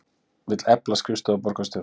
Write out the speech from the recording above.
Vill efla skrifstofu borgarstjóra